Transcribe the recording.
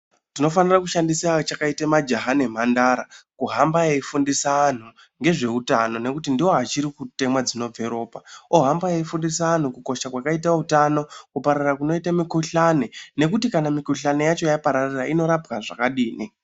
Tinofanira kushandisa achakaita majaha nemhandara kuhamba eyifundisa anhu ngezveutano ngekuti ndiwo achiri kutemwa dzinobve ropa ohamba eyifundisa anhu kukosha kwakaita hutano kuparara kunoite mikhuhlani nekuti kana mikhihlani yacho yapararira inorapwa zvakadini.